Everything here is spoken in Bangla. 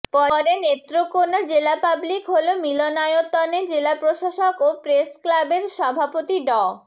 পরে নেত্রকোনা জেলা পাবলিক হল মিলনায়তনে জেলা প্রশাসক ও প্রেসক্লাবের সভাপতি ড